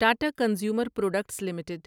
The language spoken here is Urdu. Tata consumer products limited